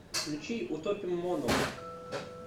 включи утопим мону